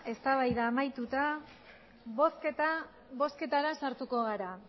bozketara sartuko gara